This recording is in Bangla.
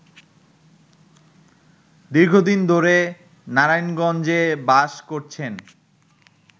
দীর্ঘদিন ধরে নারায়ণগঞ্জে বাস করছেন